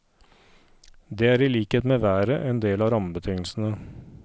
Det er i likhet med været, en del av rammebetingelsene.